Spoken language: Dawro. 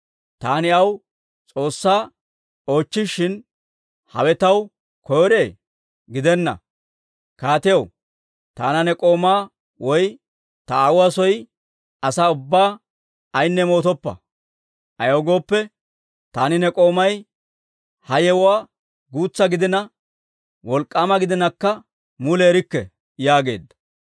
Taani aw S'oossaa oochchishin, hawe taw koyro? gidenna! Kaatiyaw, taana ne k'oomaa woy ta aawuwaa soo asaa ubbaa ayinne moottoppa; ayaw gooppe, taani ne k'oomay ha yewuwaa guutsa gidina wolk'k'aama gidinakka mule erikke» yaageedda.